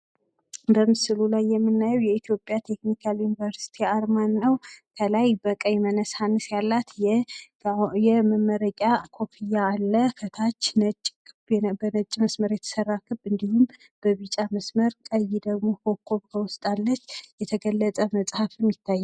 በምስሉ ላይ የምናየው የኢትዮጵያ ተክኒካል ዩኒቨርሲቲ አርማን ነው ፤ ከላይ በቀይ መነሳንስ ያላት የመመረቂያ ኮፍያ አለ ፤ ከታች በነጭ መስመር የተሰራ ክብ እንዲሁም በቢጫ መስመር ፤ ቀይ ደሞ በዉስጥ ኮኮብ አለች፣ የተገለጠ መጽሃፍም ይታያል።